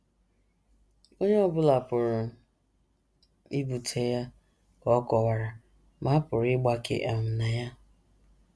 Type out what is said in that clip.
Onye ọ bụla pụrụ ibute ya, ka ọ kọwara, ma a pụrụ ịgbake um na ya.